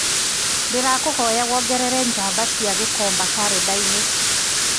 ngũkwĩhoya wongerere njamba cia gikomba karenda-inĩ